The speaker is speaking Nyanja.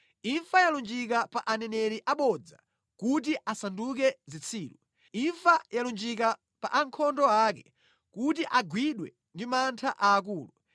Imfa yalunjika pa aneneri abodza kuti asanduke zitsiru. Imfa yalunjika pa ankhondo ake kuti agwidwe ndi mantha aakulu.